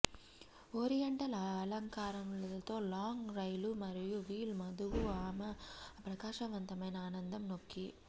oriental అలంకారాలతో long rail మరియు veil వధువు ఆమె ప్రకాశవంతమైన అందం నొక్కి